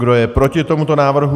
Kdo je proti tomuto návrhu?